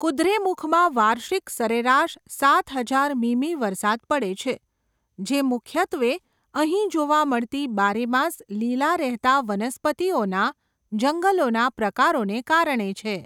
કુદ્રેમુખમાં વાર્ષિક સરેરાશ સાત હજાર મીમી વરસાદ પડે છે, જે મુખ્યત્વે અહીં જોવા મળતી બારે માસ લીલા રહેતા વનસ્પતિઓના જંગલોના પ્રકારોને કારણે છે.